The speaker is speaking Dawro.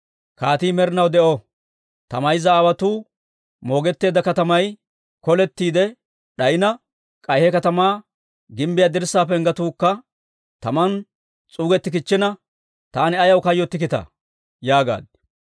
«Kaatii med'inaw de'o! Ta mayza aawotuu moogetteedda katamay kolettiide d'ayina, k'ay he katamaa gimbbiyaa dirssaa penggetuukka taman s'uugettikichchina, taani ayaw kayyottikkitaa?» yaagaad.